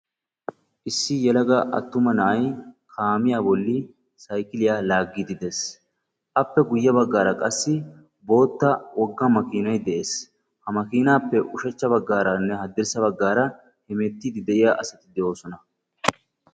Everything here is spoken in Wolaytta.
Issi yelaga attuma na'ay kaamiya bolli saykkiliya laaggide de'ees. Appe guyye baggaara qassi bootta wogga makinay de'ees. Ha makinappe ushshachcha baggaaranne haddirssa baggaara hemettide de'iya asati de'oosona.